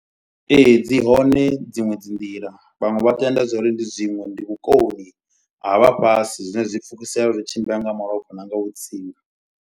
Ee dzi hone dziṅwe dzi nḓila vhaṅwe vha tenda zwa uri ndi zwiṅwe ndi vhukoni ha vhafhasi. Zwine zwi pfukisea zwi tshimbila nga malofha na nga vhutsinga.